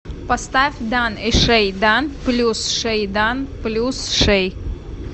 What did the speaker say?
поставь дан и шэй дан плюс шэй дан плюс шэй